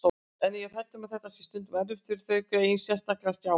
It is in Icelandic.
En ég er hrædd um að þetta sé stundum erfitt fyrir þau greyin, sérstaklega Stjána